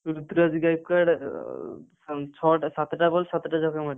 ଋତୁରାଜ ଗାଇକ୍ୱାର୍ଡ ଅ ଆମ ଛଅ ଟା ସାତ ଟା ball ସାତ ଟା ଛକା ମାରିଛି।